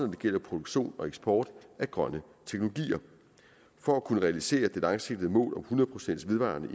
det gælder produktion og eksport af grønne teknologier for at kunne realisere det langsigtede mål om hundrede procent vedvarende